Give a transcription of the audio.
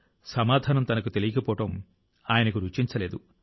సమాధానం తనకు తెలియకపోవడం ఆయనకు రుచించలేదు